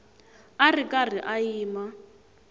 a ri karhi a yima